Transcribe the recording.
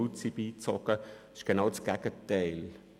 Letztere will genau das Gegenteil.